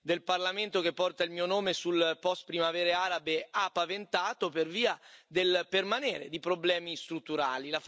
del Parlamento che porta il mio nome sulle post primavere arabe ha paventato, per via del permanere di problemi strutturali.